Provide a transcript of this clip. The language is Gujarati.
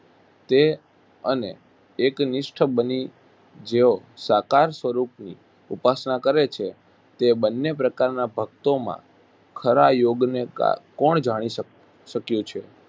તે અને એકનિષ્ઠ બની જેઓ સાકાર સ્વરૂપની ઉપાસના કરે છે તે બન્ને પ્રકારના ભકતોમાં ખરા યોગને કા કોણ જાણી શ શક્યું છે?